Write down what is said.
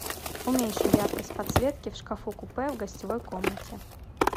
уменьши яркость подсветки в шкафу купе в гостевой комнате